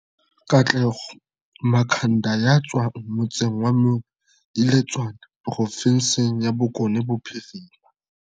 Katlego Makhanda ya tswang motseng wa Moiletswane provinseng ya Bokone Bophirima